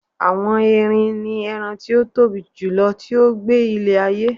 àwọn erin ni eran ti o Tobi jùlọ ti o gbe ile ayé